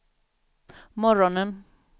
morgonen